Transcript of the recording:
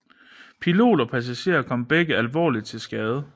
Pilot og passager kom begge alvorligt til skade